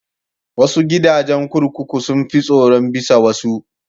Wasu gidajen kurkuku sun fi tsaro bisa wasu.